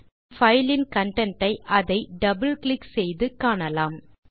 நாம் பைல் இன் கன்டென்ட் ஐ அதை டபிள் கிளிக் செய்து காணலாம்